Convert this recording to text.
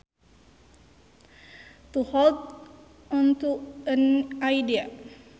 To hold onto an idea